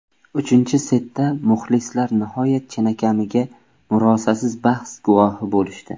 Uchinchi setda muxlislar nihoyat chinakamiga murosasiz bahs guvohi bo‘lishdi.